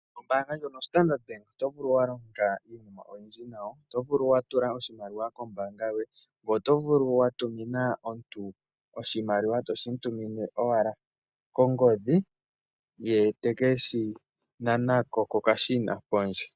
Oombanga ya Standard Bank oto vulu wa longa iinima oyindji nawo, oto vulu oku tula oshimaliwa kombanga yoye, oto vulu wa tumina omuntu oshimaliwa, toshi mu tumine wala kongodhi, ye te keshi nanako kokashina pondje.